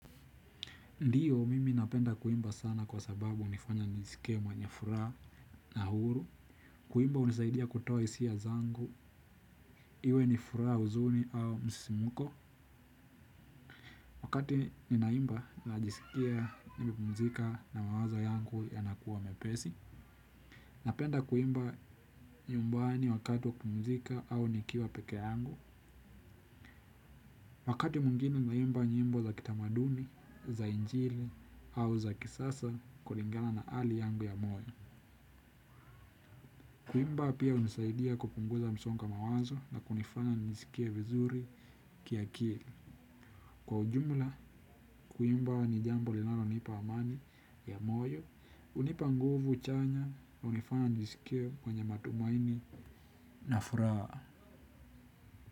Ndiyo mimi napenda kuimba sana kwa sababu unifanya njisikie mwenye fura na uhuru, kuimba unisaidia kutoa isiya zangu, iwe ni fura uzuni au msisimuko, wakati ninaimba najisikia nimepumzika na mawazo yangu yanakuwa mepesi, napenda kuimba nyumbani wakati wa kupumzika au nikiwa pekee yangu, wakati mwingine huimba nyimbo za kitamaduni za injili au za kisasa kulingana na hali yangu ya moyo. Kuimba pia hunisadia kupunguza msongo wa mawazo na kunifanya nijiskie vizuri kiakili. Kwa ujumla, kuimba ni jambo linalonipa amani ya moyo. Hunipa nguvu chanya hunifanya nijisikie kwenye matumaini na furaha.